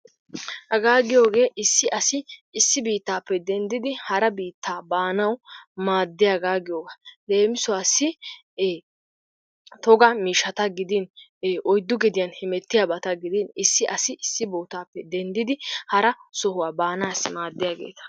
Hagaa giyoogee issi asi issi biittaappe dendidi hara biitraa baanawu maaddiyaagaa giyoogaa. Leemisuwassi e toga miishshata gidin ee oyddu gediyan hemettiyabata gidin asi isisi bootaappe denddid hara sohuwaa baanaasi maaddiyaageeta.